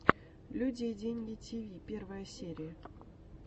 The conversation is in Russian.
люди и деньги тиви первая серия